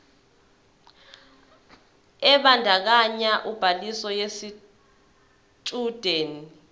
ebandakanya ubhaliso yesitshudeni